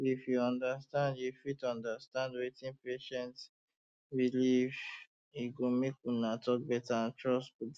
if you fit understand you fit understand wetin patient believe e go make una talk better and trust go dey